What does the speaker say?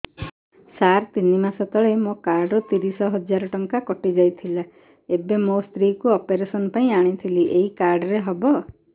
ସାର ତିନି ମାସ ତଳେ ମୋ କାର୍ଡ ରୁ ତିରିଶ ହଜାର ଟଙ୍କା କଟିଯାଇଥିଲା ଏବେ ମୋ ସ୍ତ୍ରୀ କୁ ଅପେରସନ ପାଇଁ ଆଣିଥିଲି ଏଇ କାର୍ଡ ରେ ହବ